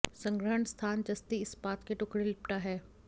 संग्रहण स्थान जस्ती इस्पात के टुकड़े लिपटा है